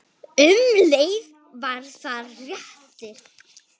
Um leið var það léttir.